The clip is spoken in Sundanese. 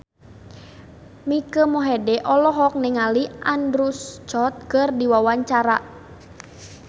Mike Mohede olohok ningali Andrew Scott keur diwawancara